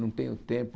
Não tenho tempo.